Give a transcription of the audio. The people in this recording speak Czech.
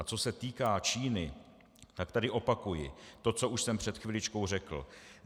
A co se týká Číny, tak tady opakuji to, co už jsem před chviličkou řekl.